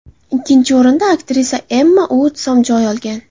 Ikkinchi o‘rindan aktrisa Emma Uotson joy olgan.